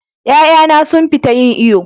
Ƴa'ƴana sun fita yin iyo.